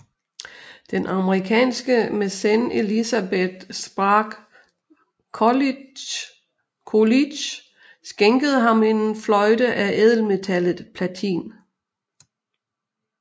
Den amerikanske mæcen Elizabeth Sprague Coolidge skænkede ham en fløjte af ædelmetallet platin